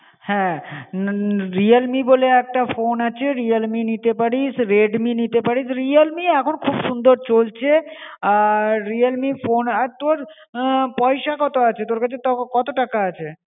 হ্যাঁ Realme বলে একটা ফোন আছে, Realme নিতে পারিস, Redmi নিতে পারিস, Realme এখন খুব সুন্দর চলছে. আর Realme ফোন, আর তোর অ পয়সা কত আছে, তোর কাছে কত টাকা আছে